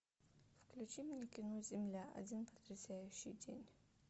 включи мне кино земля один потрясающий день